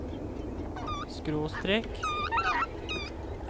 skråstrek